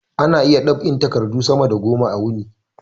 Ana iya dab'in takadu sama da goma a wuni